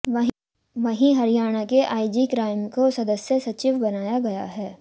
वहीं हरियाणा के IG crime को सदस्य सचिव बनाया गया है